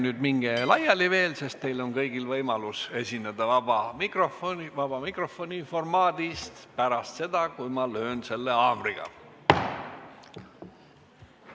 Aga ärge veel laiali minge, sest teil kõigil on võimalus esineda vabas mikrofonis pärast seda, kui löön haamriga.